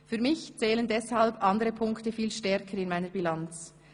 Für mich zählen deshalb andere Punkte viel stärker in meiner Bilanz: